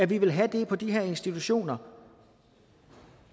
vi vil have det på de her institutioner